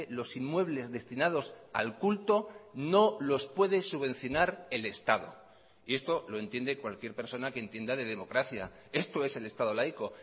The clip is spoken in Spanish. los inmuebles destinados al culto no los puede subvencionar el estado y esto lo entiende cualquier persona que entienda de democracia esto es el estado laico